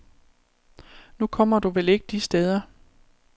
Nu kommer du vel ikke de steder.